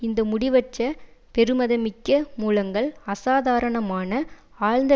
இந்த முடிவற்ற பெறுமதிமிக்க மூலங்கள் அசாதாரணமான ஆழ்ந்த